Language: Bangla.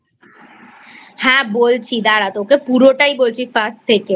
হ্যাঁ বলছি দাঁড়া তোকেপুরোটাই বলছি First থেকে